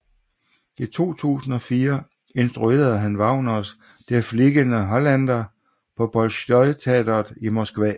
I 2004 instruerede han Wagners Der fliegende Holländer på Bolsjojteatret i Moskva